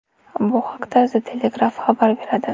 Bu haqda The Telegraph xabar beradi.